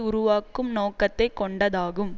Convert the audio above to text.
உருவாக்கும் நோக்கத்தை கொண்டதாகும்